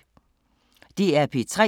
DR P3